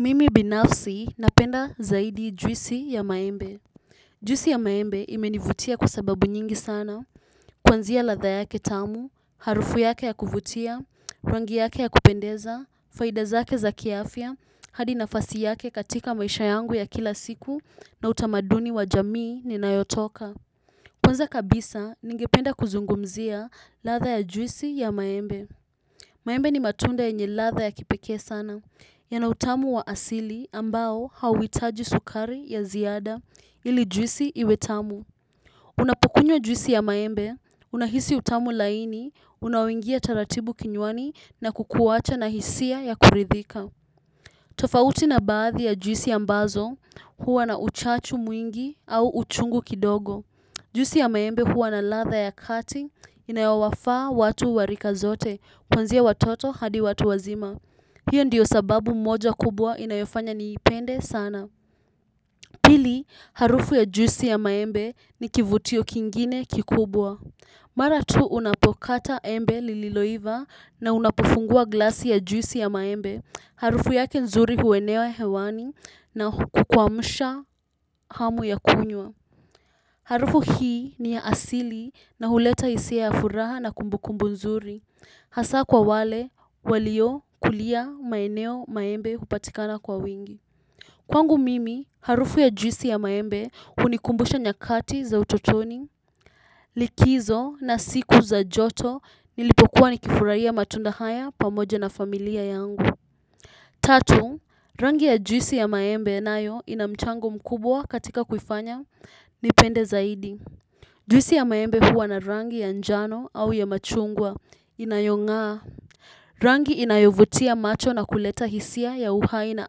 Mimi binafsi, napenda zaidi juisi ya maembe. Juisi ya maembe imenivutia kwa sababu nyingi sana. Kwanzia ladha yake tamu, harufu yake ya kuvutia, rangi yake ya kupendeza, faida zake za kiafya, hadi nafasi yake katika maisha yangu ya kila siku na utamaduni wa jamii ninayotoka. Kwanza kabisa ningependa kuzungumzia ladha ya juisi ya maembe. Maembe ni matunda yenye ladha ya kipekee sana. Yana utamu wa asili ambao hauitaji sukari ya ziada ili juisi iwe tamu. Unapokunywa juisi ya maembe, unahisi utamu laini, unaoingia taratibu kinywani na kukuwacha na hisia ya kuridhika. Tofauti na baadhi ya juisi ambazo huwa na uchachu mwingi au uchungu kidogo. Juisi ya maembe huwa na ladha ya kati inayowafaa watu wa rika zote kuanzia watoto hadi watu wazima. Hio ndiyo sababu moja kubwa inayofanya niipende sana. Pili, harufu ya juisi ya maembe ni kivutio kingine kikubwa. Mara tu unapokata embe lililoiva na unapofungua glasi ya juisi ya maembe. Harufu yake nzuri huenea hewani na kukuamusha hamu ya kunywa. Harufu hii, ni ya asili, na uleta hisia ya furaha na kumbukumbu nzuri. Hasa kwa wale, walio kulia maeneo maembe hupatikana kwa wingi. Kwangu mimi, harufu ya juisi ya maembe unikumbusha nyakati za utotoni. Likizo na siku za joto nilipokuwa nikifurahia matunda haya pamoja na familia yangu. Tatu, rangi ya juisi ya maembe nayo ina mchango mkubwa katika kuifanya nipende zaidi. Juisi ya maembe huwa na rangi anjano au ya machungwa. Inayongaa. Rangi inayovutia macho na kuleta hisia ya uhai na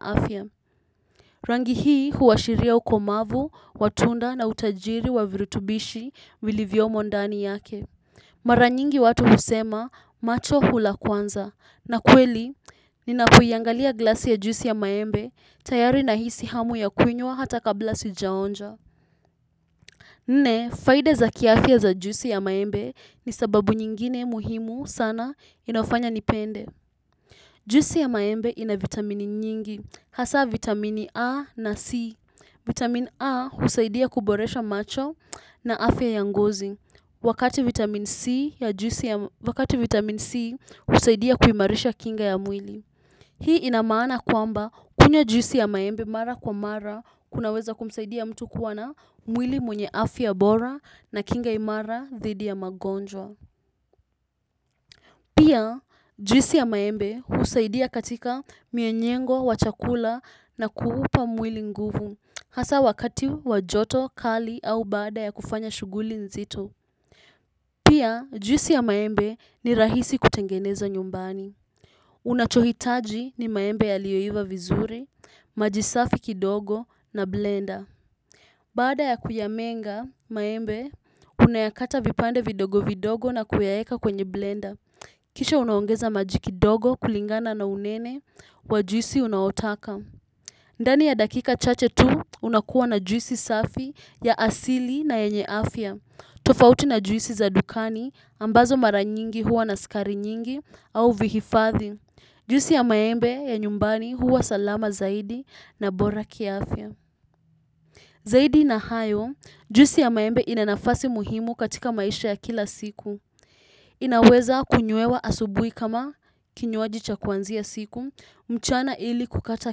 afya. Rangi hii huashiria ukomavu, watunda na utajiri wa virutubishi vilivyomondani yake. Maranyingi watu husema macho hula kwanza. Na kweli, ninakoiangalia glasi ya juisi ya maembe tayari na hisi hamu ya kuinywa hata kabla sijaonja. Nne, faida za kiafya za juisi ya maembe ni sababu nyingine muhimu sana inayofanya nipende. Juisi ya maembe ina vitamini nyingi, hasa vitamini A na C. Vitamini A husaidia kuboresha macho na afya yangozi. Wakati vitamin C husaidia kuimarisha kinga ya mwili. Hii inamaana kwamba kunywa juisi ya maembe mara kwa mara kunaweza kumsaidia mtu kuwana mwili mwenye afya bora na kinga imara dhidi ya magonjwa. Pia juisi ya maembe husaidia katika mmeng'enyo wa chakula na kuupa mwili nguvu hasa wakati wa joto kali au baada ya kufanya shughuli nzito. Pia juisi ya maembe ni rahisi kutengeneza nyumbani. Unachohitaji ni maembe yalioiva vizuri, majisafiki dogo na blender baada ya kuyamenga maembe unayakata vipande vidogo vidogo na kuyaweka kwenye blender kisha unaongeza maji kidogo kulingana na unene wa juisi unayotaka. Ndani ya dakika chache tu unakuwa na juisi safi ya asili na yenye afya. Tofauti na juisi za dukani ambazo mara nyingi huwa na sukari nyingi au vihifadhi juisi ya maembe ya nyumbani huwa salama zaidi na bora kiafya. Zaidi na hayo, juisi ya maembe inanafasi muhimu katika maisha ya kila siku. Inaweza kunywewa asubuhi kama kinywaji cha kuanzia siku, mchana ili kukata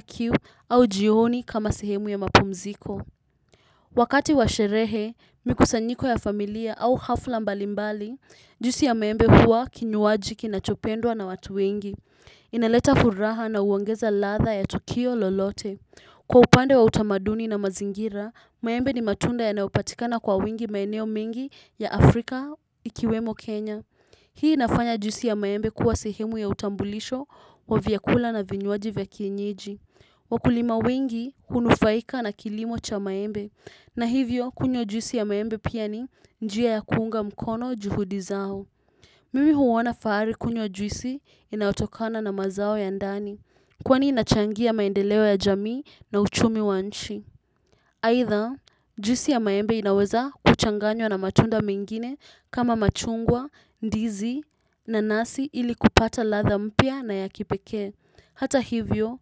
kiu au jioni kama sehemu ya mapumziko. Wakati washerehe, mikusanyiko ya familia au hafla mbalimbali, juisi ya maembe huwa kinywaji kinachopendwa na watu wengi. Inaleta furaha na huongeza ladha ya tukio lolote. Kwa upande wa utamaduni na mazingira, maembe ni matunda ya nayopatikana kwa wingi maeneo mengi ya Afrika ikiwemo Kenya. Hii inafanya juisi ya maembe kuwa sehemu ya utambulisho wa vyakula na vinywaji vya kienyeji. Wakulima wengi hunufaika na kilimo cha maembe. Na hivyo kunywa juisi ya maembe pia ni njia ya kuunga mkono juhudi zao. Mimi huona fahari kunywa juisi inayotokana na mazao ya ndani. Kwani inachangia maendeleo ya jamii na uchumi wa nchi. Aitha juisi ya maembe inaweza kuchanganywa na matunda mengine kama machungwa, ndizi nanasi ili kupata latha mpya na ya kipekee. Hata hivyo.